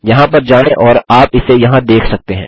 यहाँ पर जाएँ और आप इसे यहाँ देख सकते हैं